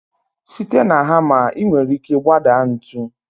Site na hamma, ị nwere ike gbadaa ntu.